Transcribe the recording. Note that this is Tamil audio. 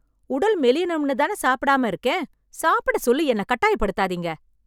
உடல் மெலியணும்னுதான சாப்பிடாம இருக்கேன், சாப்பிடசொல்லி என்ன கட்டாயப்படுத்தாதீங்க...